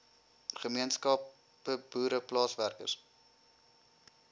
gemeenskappe boere plaaswerkers